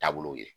Taabolow ye